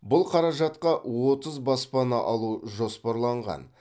бұл қаражатқа отыз баспана алу жоспарланған